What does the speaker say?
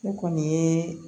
Ne kɔni ye